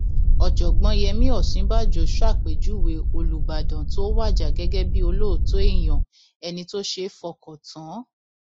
ọjọgbọn yemí òsínbàjò ṣàpèjúwe olùbàdàn tó wájà gẹgẹ bíi olóòótọ èèyàn ẹni tó ṣeé fọkàn tán